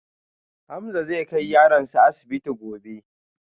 Hamza zai kai yaronsa asibiti gobe